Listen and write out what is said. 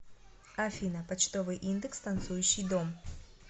афина почтовый индекс танцующий дом